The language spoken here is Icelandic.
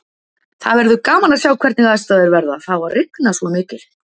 Það verður gaman að sjá hvernig aðstæður verða, það á að rigna svo mikið.